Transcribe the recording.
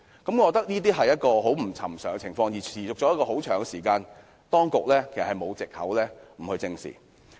我覺得這個情況不尋常，而且已經持續一段長時間，當局沒有藉口不予正視。